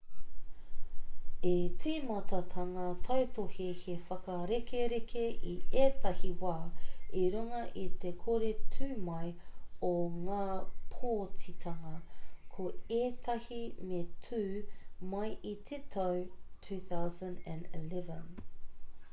i tīmata ngā tautohe he whakarekereke i ētahi wā i runga i te kore tū mai o ngā pōtitanga ko ētahi me tū mai i te tau 2011